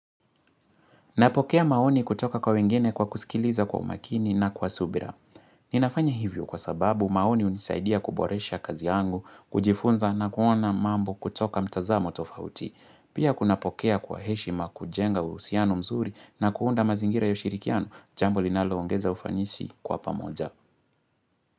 Napokea maoni kutoka kwa wengine kwa kusikiliza kwa umakini na kwa subira. Ninafanya hivyo kwa sababu maoni hunisaidia kuboresha kazi yangu, kujifunza na kuona mambo kutoka mtazamo tofauti. Pia kunapokea kwa heshima kujenga uhusiano mzuri na kuunda mazingira ya ushirikiano, jambo linaloongeza ufanisi kwa pamoja.